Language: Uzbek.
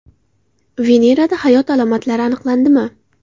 Venerada hayot alomatlari aniqlandimi?